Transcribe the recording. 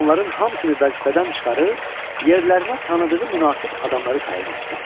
Onların hamısını vəzifədən çıxarıb, yerlərinə tanıdığı münasib adamları təyin etdi.